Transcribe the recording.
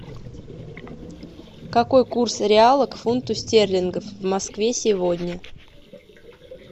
какой курс реала к фунту стерлингов в москве сегодня